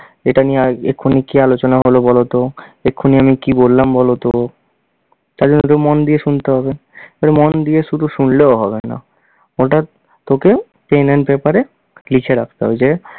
এটা নিয়ে এক্ষুনি কী আলোচনা হল বল তো এক্ষুনি আমি কী বললাম বলতো, তার জন্য তোকে মন দিয়ে শুনতে হবে। তবে মন দিয়ে শুধু শুনলেও হবে না ওটা তোকে pen & paper এ লিখে রাখতে হবে, যে